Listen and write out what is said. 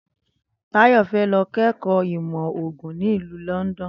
Táyò̩ fé̩ lo̩ ké̩kò̩ó̩ ìmò̩ ògùn nílùú London